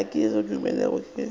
a kego a dumele ge